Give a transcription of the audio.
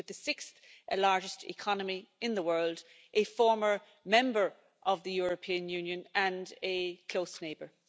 it's with the sixth largest economy in the world, a former member of the European Union and a close neighbour.